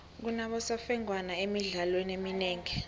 kunabosemfengwana emidlalweni eminengi